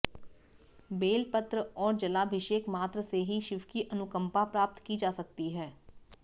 bell पत्र और जलाभिषेक मात्र से ही शिव की अनुकंपा प्राप्त की जा सकती है